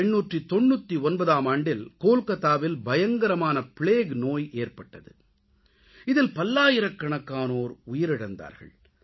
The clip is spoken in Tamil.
1899ஆம் ஆண்டில் கோல்கத்தாவில் பயங்கரமான பிளேக் நோய் ஏற்பட்டது இதில் பல்லாயிரக்கணக்கானோர் உயிரிழந்தார்கள்